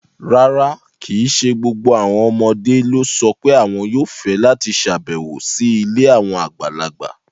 Rárá, kì í ṣe gbogbo àwọn ọmọdé ló sọ pé àwọn yóò fẹ́ láti ṣàbẹ̀wò sí ilé àwọn àgbàlagbà.